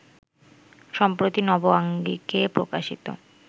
সম্প্রতি নব আঙ্গিকে প্রকাশিত